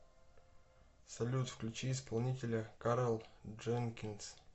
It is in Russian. салют включи исполнителя карл дженкинс